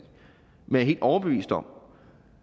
men helt overbevist om